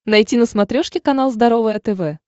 найти на смотрешке канал здоровое тв